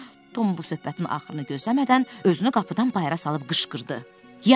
Tom bu söhbətin axırını gözləmədən özünü qapıdan bayıra salıb qışqırdı: Yaxşı, Sid.